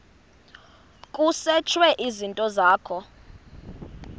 kusetshwe izinto zakho